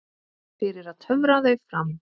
Fyrir að töfra þau fram.